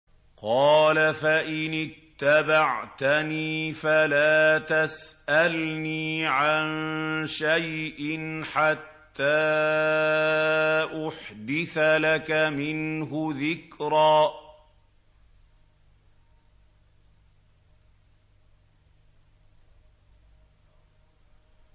قَالَ فَإِنِ اتَّبَعْتَنِي فَلَا تَسْأَلْنِي عَن شَيْءٍ حَتَّىٰ أُحْدِثَ لَكَ مِنْهُ ذِكْرًا